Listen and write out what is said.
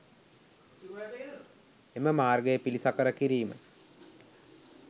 එම මාර්ගය පිළිසකර කිරීම